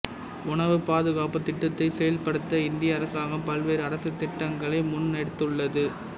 உணவு பாதுகாப்புத் திட்டத்தை செயல்படுத்த இந்திய அரசாங்கம் பல்வேறு அரசு திட்டங்களை முன்னெடுத்துள்ளது